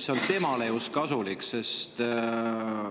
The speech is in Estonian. just temale kasulik.